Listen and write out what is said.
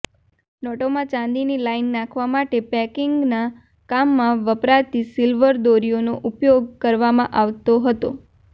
નોંટોમાં ચાંદીની લાઈન નાંખવા માટે પેકિંગનાં કામમાં વપરાતી સિલ્વર દોરીઓનો ઉપયોગ કરવામાં આવતો હતો